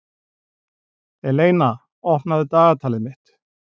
Eleina, opnaðu dagatalið mitt.